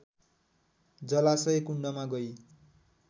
जलाशय कुण्डमा गई